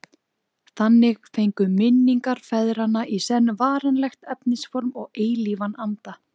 Þannig fengu minningar feðranna í senn varanlegt efnisform og eilífan anda.